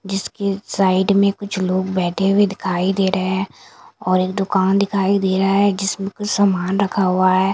जिसके साइड में कुछ लोग बैठे हुए दिखाई दे रहे हैं और एक दुकान दिखाई दे रहा है जिसमें कुछ सामान रखा हुआ है।